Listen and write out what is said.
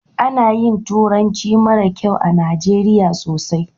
Ana yin turanci mara kyau a najeriya sosai